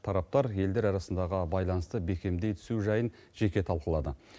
тараптар елдер арасындағы байланысты бекемдей түсу жайын жеке талқылады